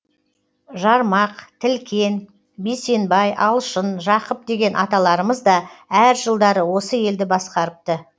жармақ тілкен бейсенбай алшын жақып деген аталарымыз да әр жылдары осы елді басқарыпты